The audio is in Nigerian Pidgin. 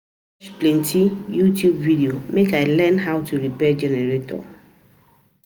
plenty YouTube videos make I learn how to repair generator.